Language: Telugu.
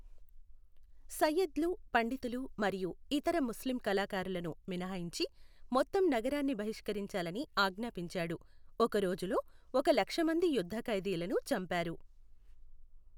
సయ్యద్లు, పండితులు మరియు ఇతర ముస్లిం కళాకారులను మినహాయించి మొత్తం నగరాన్ని బహిష్కరించాలని ఆజ్ఞాపించాడు, ఒక రోజులో ఒక లక్ష మంది యుద్ధ ఖైదీలను చంపారు.